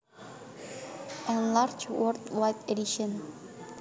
Enlarged World Wide Edition